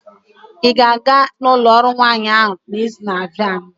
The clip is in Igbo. ị ga-aga ụlọ ọrụ nwanyị ahụ n'izu na-abịa?